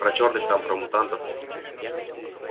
про чёрных там про мутантов